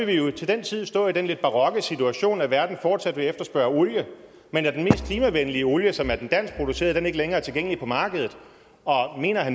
vi jo til den tid stå i den lidt barokke situation at verden fortsat vil efterspørge olie men at den mest klimavenlige olie som er den danskproducerede ikke længere er tilgængelig på markedet og mener